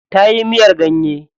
Tayi miyar ganye.